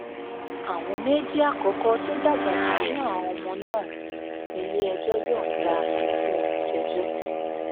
àwọn méjì àkọkọ tó dàgbà jù nínú àwọn ọmọ náà níléẹjọ yọǹda fún olùjẹjọ